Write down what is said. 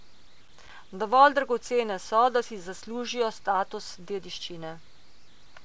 Dovolj dragocene so, da si zaslužijo status dediščine.